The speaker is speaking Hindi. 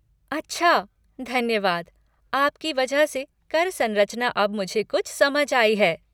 अच्छा, धन्यवाद, आपकी वजह से कर सरंचना अब मुझे कुछ समझ आई है।